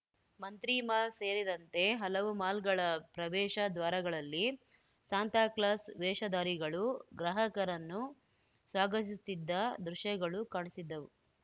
ಮಂತ್ರಿಮಾಲ್‌ ಸೇರಿದಂತೆ ಹಲವು ಮಾಲ್‌ಗಳ ಪ್ರವೇಶ ದ್ವಾರಗಳಲ್ಲಿ ಸಾಂತಾಕ್ಲಾಸ್‌ ವೇಷಧಾರಿಗಳು ಗ್ರಾಹಕರನ್ನು ಸ್ವಾಗತಿಸುತ್ತಿದ್ದ ದೃಶ್ಯಗಳು ಕಾಣಸಿದ್ದವು